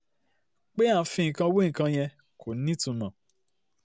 pé à ń fi nǹkan wé nǹkan yẹn kò nítumọ̀